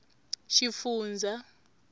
xifundzha